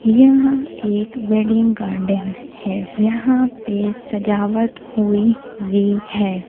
यह एक wedding garden है यहां पे सजावट हुई है।